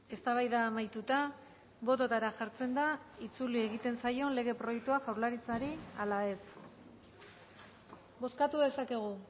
eztabaida amaituta bototara jartzen da itzuli egiten zaion lege proiektua jaurlaritzari ala ez bozkatu dezakegu